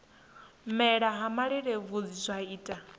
mela ha malelebvudzi zwa ita